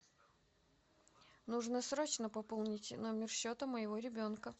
нужно срочно пополнить номер счета моего ребенка